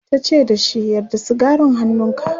tace da shi"Yar da sigarin hannunka!'